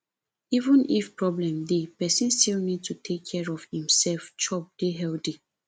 even if problem dey person still need to take care of im self chop dey healthy